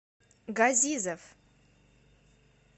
газизов